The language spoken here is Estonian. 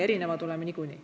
Erinevad oleme niikuinii.